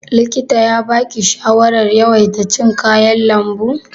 Likita ya baki shawarar yawaita cin kayan lambu?